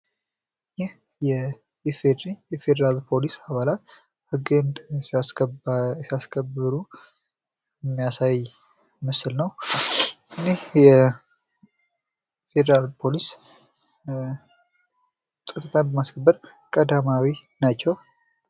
ይህ የኢፌዲሪ የፌደራል ፖሊስ አባላት ህግን እያስከበሩ የሚያሳይ ምስል ነው። እኒህ ፌዴራል ፖሊስ ህኝ በማስከበር ቀዳማዊ ናቸው።